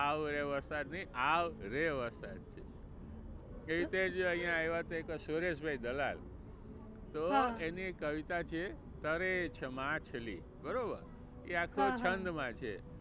આવરે વરસાદ નહીં આવ રે વરસાદ છે. તે રીતે જ અહિયા આવ્યા તા એક સુરેશ ભાઈ દલાલ તો એની એક કવિતા છે તરે છે માછલી બરોબર. એ આખું એક છંદ માં છે.